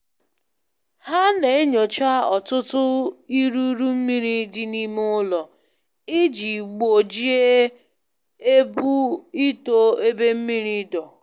Ha na-enyocha ọtụtụ iruru mmiri dị n'ime ụlọ, iji gbojie ebu ito ebe mmiri dọ